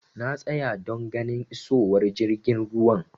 Na tsaya don ganin isowar jirgin ruwan.